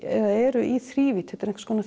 eru í þrívídd þetta er einhvers konar